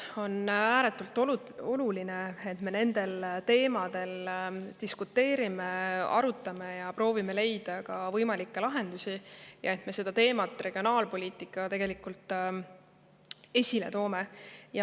On ääretult oluline, et me nendel teemadel diskuteerime, arutame ja proovime leida ka võimalikke lahendusi ja et me seda teemat ehk regionaalpoliitikat esile toome.